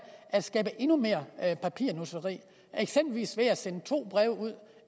at skabe endnu mere papirnusseri eksempelvis ved at sende to breve ud